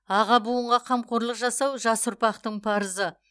аға буынға қамқорлық жасау жас ұрпақтың парызы